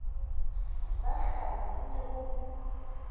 ba hlanya ho ne ho